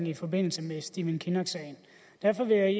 i forbindelse med stephen kinnock sagen og derfor vil jeg